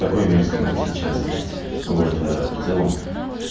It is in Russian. такой мерзкий как сейчас блять вот ээ в целом